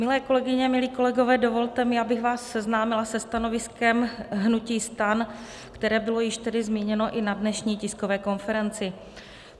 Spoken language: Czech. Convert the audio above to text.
Milé kolegyně, milí kolegové, dovolte mi, abych vás seznámila se stanoviskem hnutí STAN, které bylo již tedy zmíněno i na dnešní tiskové konferenci.